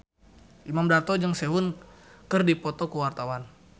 Imam Darto jeung Sehun keur dipoto ku wartawan